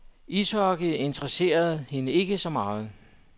Ishockey interesserer hende ikke så meget.